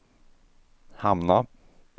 hamna